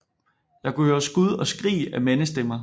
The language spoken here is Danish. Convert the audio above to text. Jeg kunne høre skud og skrig af mandsstemmer